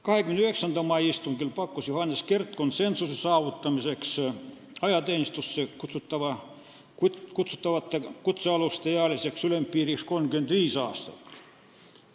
29. mai istungil pakkus Johannes Kert konsensuse saavutamiseks ajateenistusse kutsutavate kutsealuste ealiseks ülempiiriks 35 aastat.